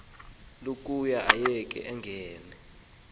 lokuba ayeke angene